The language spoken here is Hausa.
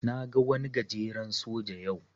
Na ga wani gajeren soja yau.